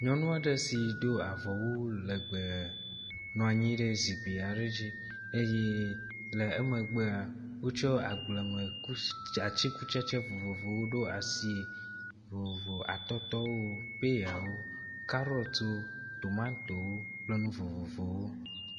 Nyɔnu aɖe si do avɔwu legbe nɔ anyi ɖe zikpui aɖe dzi eye le emegbe wotsɔ agbleme ku atikutsetse vovovowo ɖo asi vovovo. Atɔtɔwo, peyawo, kaɖɔtwo, tomatow kple nu vovovowo.